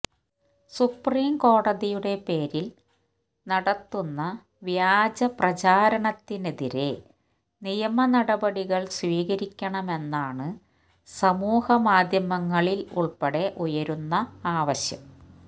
supreme കോടതിയുടെ പേരിൽ നടത്തുന്ന വ്യാജ പ്രചാരണത്തിനെതിരെ നിയമ നടപടികൾ സ്വീകരിക്കണമെന്നാണ് സമൂഹമാധ്യമങ്ങളിൽ ഉൾപ്പടെ ഉയരുന്ന ആവശ്യം